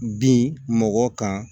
Bin mɔgɔ kan